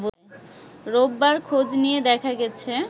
রোববার খোঁজ নিয়ে দেখা গেছে